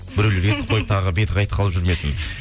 біреулер естіп қойып тағы беті қайтып қалып жүрмесін